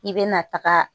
I bɛna taga